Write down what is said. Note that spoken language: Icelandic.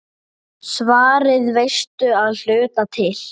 Svarið veistu að hluta til.